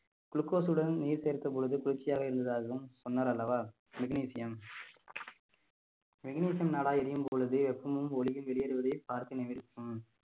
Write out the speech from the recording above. glucose உடன் நீர் சேர்த்த பொழுது குளிர்ச்சியாக இருந்ததாகவும் சொன்னார் அல்லவா magnesium magnesium நாடா எரியும் பொழுது வெப்பமும் ஒளியும் வெளியேறுவதே